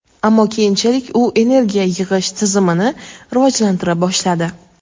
ammo keyinchalik u energiya yig‘ish tizimini rivojlantira boshladi.